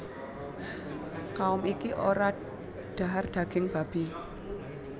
Kaum iki ora dhahar daging babi